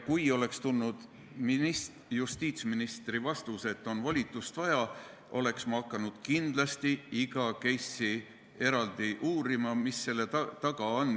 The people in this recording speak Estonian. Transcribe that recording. Kui justiitsministrilt oleks tulnud vastus, et on volitust vaja, oleksin ma hakanud kindlasti iga case'i eraldi uurima, et mis selle taga on.